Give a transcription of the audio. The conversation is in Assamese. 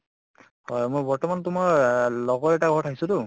হয় মই বৰ্তমান তো মই এহ লগৰ এটাৰ ঘৰত আহিছো তো